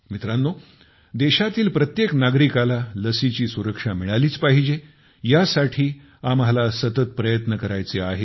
मित्रांनो देशातील प्रत्येक नागरिकास लसीची सुरक्षा मिळालीच पाहिजे ह्या साठी आम्हाला सतत प्रयत्न करायचे आहेत